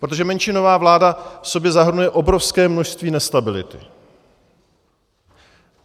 Protože menšinová vláda v sobě zahrnuje obrovské množství nestability.